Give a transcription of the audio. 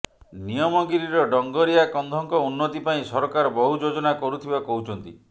ନିୟମଗିରିର ଡଙ୍ଗରିଆ କନ୍ଧଙ୍କ ଉନ୍ନତି ପାଇଁ ସରକାର ବହୁ ଯୋଜନା କରୁଥିବା କହୁଛନ୍ତି